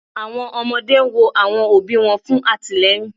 Awọn ọmọde n wo awọn obi wọn fun atilẹyin